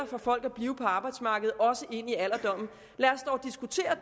for folk at blive på arbejdsmarkedet også ind i alderdommen lad os dog diskutere